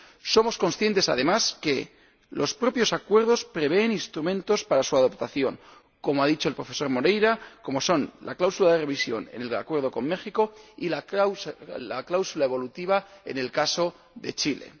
Somos conscientes, además, de que los propios acuerdos prevén instrumentos para su adaptación ―como ha dicho el profesor Moreira―, como son la cláusula de revisión en el acuerdo con México y la cláusula evolutiva en el caso de Chile.